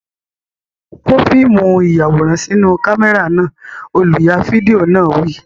Kó fíìmù ìyàwòrán sínú kámẹ́rà náà! Olùya fídíò náà wí.